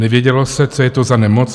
Nevědělo se, co je to za nemoc.